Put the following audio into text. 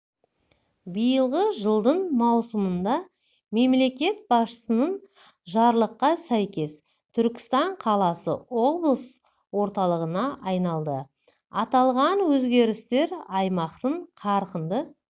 биылғы жылдың маусымында мемлекет басшысының жарлыққа сәйкес түркістан қаласы облыс орталығына айналды аталған өзгерістер аймақтың қарқынды